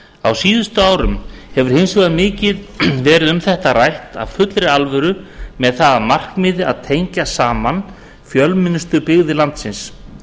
á síðustu árum hefur hins vegar mikið verið um þetta rætt af fullri alvöru með það að markmiði að tengja saman fjölmennustu byggðir landsins